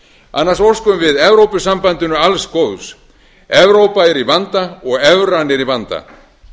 annars óskum við evrópusambandinu alls góðs evrópa er í vanda og evran er í vanda